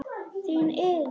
Þín Iðunn.